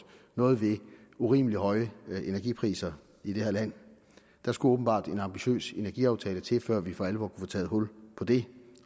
noget ved urimelig høje energipriser i det her land der skulle åbenbart en ambitiøs energiaftale til før vi for alvor få taget hul på det